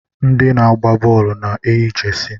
Ndị na-agba bọọlụ na-eyi jesi.